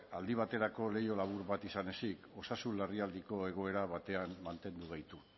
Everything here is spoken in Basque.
aldi baterako leiho labur bat izan ezik osasun larrialdiko egoera batean mantendu gaitu